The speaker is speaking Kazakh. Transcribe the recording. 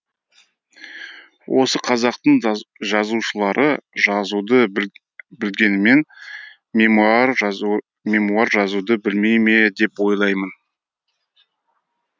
осы қазақтың жазушылары жазуды білгенімен мемуар жазуды білмей ме деп ойлаймын